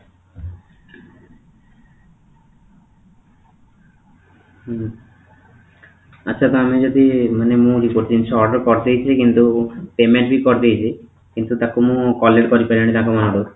ହୁଁ ଆଛା ତ ଆମେ ଯଦି ମାନେ ମୁଁ ଗୋଟେ ଜିନିଷ order କରି ଦେଇଥିବି କିନ୍ତୁ payment ବି କରିଦେଇଛି କିନ୍ତୁ ତାକୁ ମୁଁ collect କରିପାରିବିନି ତାଙ୍କ ମାନଙ୍କ ଠୁ